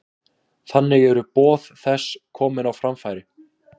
Þannig eru boð þess komin á framfæri.